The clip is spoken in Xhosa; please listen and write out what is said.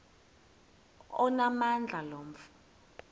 onamandla lo mfo